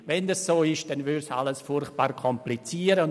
Wenn dem so wäre, würde alles verkompliziert.